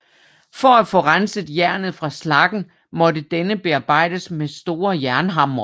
For at få renset jernet fra slaggen måtte denne bearbejdes med store jernhamre